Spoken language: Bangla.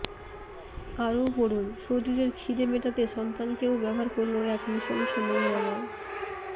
আরও পড়ুন শরীরের খিদে মেটাতে সন্তানকেও ব্যবহার করল এক নৃশংস নোংরা মা